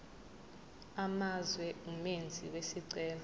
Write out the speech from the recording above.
amazwe umenzi wesicelo